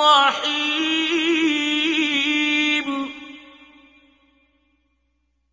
رَّحِيمٌ